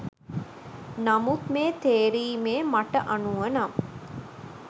නමුත් මේ තේරීමේ මට අනුව නම්